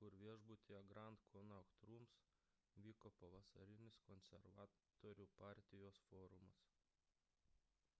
kur viešbutyje grand connaught rooms vyko pavasarinis konservatorių partijos forumas